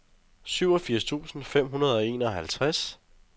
syvogfirs tusind fem hundrede og enoghalvtreds